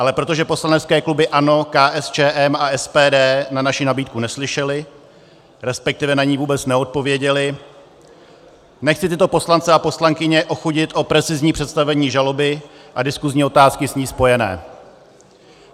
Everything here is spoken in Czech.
Ale protože poslanecké kluby ANO, KSČM a SPD na naši nabídku neslyšely, respektive na ni vůbec neodpověděly, nechci tyto poslance a poslankyně ochudit o precizní představení žaloby a diskuzní otázky s ní spojené.